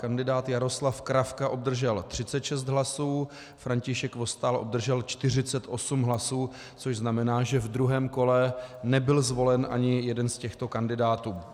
Kandidát Jaroslav Kravka obdržel 36 hlasů, František Vostál obdržel 48 hlasů, což znamená, že v druhém kole nebyl zvolen ani jeden z těchto kandidátů.